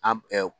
An